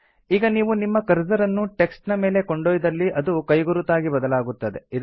ಈಗ ನೀವು ನಿಮ್ಮ ಕರ್ಸರ್ ಅನ್ನು ಟೆಕ್ಸ್ಟ್ ನ ಮೇಲೆ ಕೊಂಡೊಯ್ದಲ್ಲಿ ಅದು ಕೈಗುರುತಾಗಿ ಬದಲಾಗುತ್ತದೆ